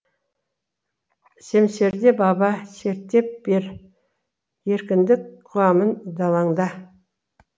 семсерді баба серттеп бер еркіндік қуамын далаңда